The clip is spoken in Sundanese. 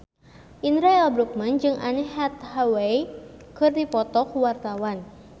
Indra L. Bruggman jeung Anne Hathaway keur dipoto ku wartawan